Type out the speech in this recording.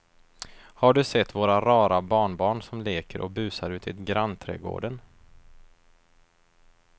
Har du sett våra rara barnbarn som leker och busar ute i grannträdgården!